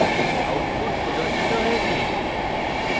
output প্রদর্শিত হয়েছে